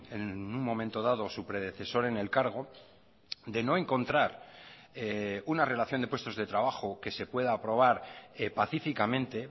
en un momento dado su predecesor en el cargo de no encontrar una relación de puestos de trabajo que se pueda aprobar pacíficamente